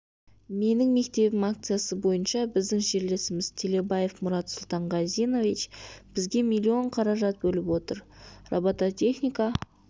менің мектебім акциясы бойынша біздің жерлесіміз телебаев мұрат сұлтанғазинович бізге миллион қаражат бөліп отыр бұл робототехника